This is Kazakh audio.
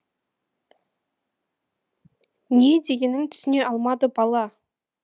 не дегенін түсіне алмады бала